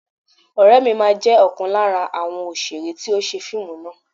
Ọ̀rẹ́ mi máa jẹ́ ọ̀kan lára àwọn òṣèré tí ó ṣe fíìmù náà